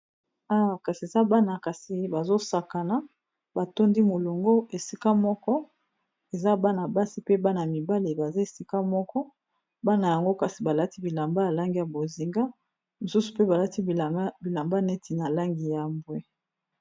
Awa kasi eza bana kasi bazosakana batondi molongo esika moko eza bana basi pe bana mibale baza esika moko bana yango kasi balati bilamba ya langi ya bozinga mosusu mpe balati bilamba neti na langi ya bwe.